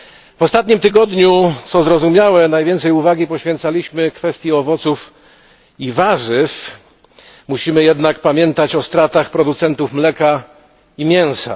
W ostatnim tygodniu, co zrozumiałe, najwięcej uwagi poświęcaliśmy kwestii owoców i warzyw, musimy jednak pamiętać o stratach producentów mleka i mięsa.